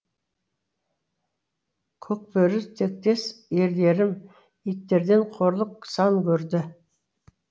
көкбөрі тектес ерлерім иттерден қорлық сан көрді